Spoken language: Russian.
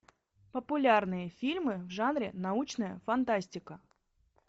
популярные фильмы в жанре научная фантастика